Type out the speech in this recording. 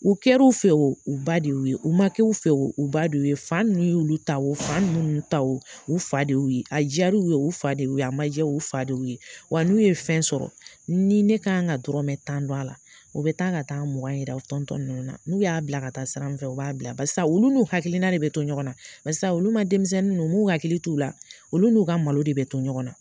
U kɛra fɛ o, u ba de y'u ye, u ma kɛ u fɛ o, u ba de y'u ye. Fa ninnu ye olu ta o fa ninnu m'un ta o, u fa de y'u ye. A diyar'u ye, u fa de y'u ye, a ma diya u ye o, u fa de y'u ye. Wa n'u ye fɛn sɔrɔ, ni ne ka kan ka dɔrɔnmɛ tan dun a la, u bɛ taa ka taa mugan yira u tɔntɔn ninnu na. N'u y'a bila ka taa sira min fɛ, u b'a bila barisa olu n'u hakilina de bɛ to ɲɔgɔnna barisa olu ma denmisɛnnin ninnu u m'u hakili t'u la. olu n'u ka malo de bɛ to ɲɔgɔn na.